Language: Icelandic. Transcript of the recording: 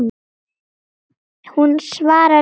Hún svarar engu.